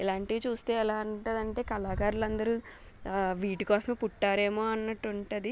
ఇలాంటివి చూస్తే ఎలా ఉంటదంటే కళాకారులు అందరు వీటికోసమే పుట్టరేమో అన్నట్టు ఉంటది.